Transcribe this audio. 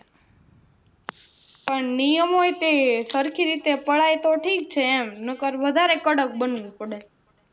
પણ નિયમો એ તે સરખી રીતે પડાય તો ઠીક છે નીકર તો વધારે કડક બની પડે